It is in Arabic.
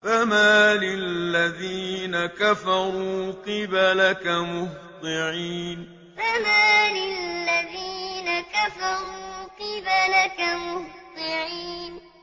فَمَالِ الَّذِينَ كَفَرُوا قِبَلَكَ مُهْطِعِينَ فَمَالِ الَّذِينَ كَفَرُوا قِبَلَكَ مُهْطِعِينَ